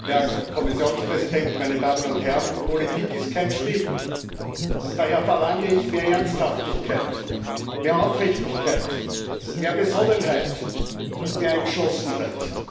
Frau Präsidentin, Herr Kommissionspräsident, meine Damen und Herren! Politik ist kein Spiel, und daher verlange ich mehr Ernsthaftigkeit, mehr Aufrichtigkeit, mehr Besonnenheit und mehr Entschlossenheit.